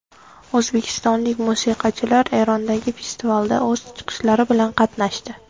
O‘zbekistonlik musiqachilar Erondagi festivalda o‘z chiqishlari bilan qatnashdi.